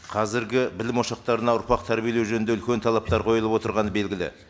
қазіргі білім ошақтарына ұрпақ тәрбиелеу жөнінде үлкен талаптар қойылып отырғаны белгілі